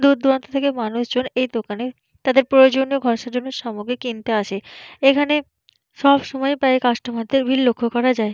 দূর দূরান্ত থেকে মানুষজন এই দোকানে তাদের প্রয়োজনীয় ঘর সাজানোর সামগ্রী কিনতে আসে এইখানে সবসময় প্রায় কাস্টোমার এর দেড় ভিড় লক্ষ্য করা যায়।